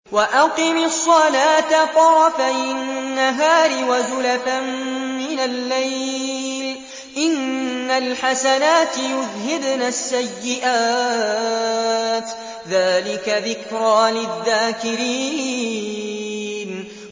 وَأَقِمِ الصَّلَاةَ طَرَفَيِ النَّهَارِ وَزُلَفًا مِّنَ اللَّيْلِ ۚ إِنَّ الْحَسَنَاتِ يُذْهِبْنَ السَّيِّئَاتِ ۚ ذَٰلِكَ ذِكْرَىٰ لِلذَّاكِرِينَ